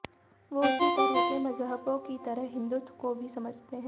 वो उसी तरह के मजहबों की तरह हिन्दुत्व को भी समझते हैं